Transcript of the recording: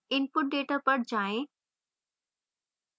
input data पर जाएँ